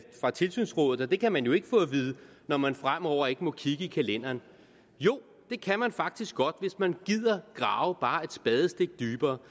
tilsynsrådet og det kan man jo ikke få at vide når man fremover ikke må kigge i kalenderen jo det kan man faktisk godt hvis man gider grave bare et spadestik dybere